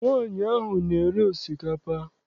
Nwaanyị ahụ na-ere osikapa.